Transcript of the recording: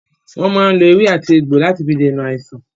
Wọn máa ń lò èwe àti egbò láti fi dènà àìsàn.